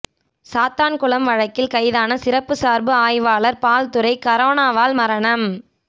சாத்தான்குளம் வழக்கில் கைதான சிறப்பு சார்பு ஆய்வாளர் பால்துரை கரோனாவால் மரணம்